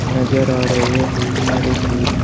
नजर आ रहे है भोत सारे फूल।